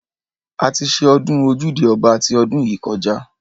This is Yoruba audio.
A ti ṣe ọdún ojúde ọba ti ọdún yìí kọjá.